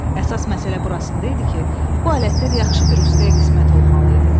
Əsas məsələ burasında idi ki, bu alətlər yaxşı bir ustaya qismət olmalı idi.